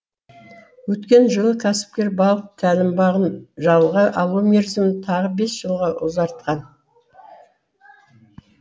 өткен жылы кәсіпкер балық тәлім бағын жалға алу мерзімін тағы бес жылға ұзартқан